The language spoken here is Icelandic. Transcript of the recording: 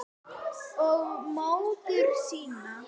Og móður sína.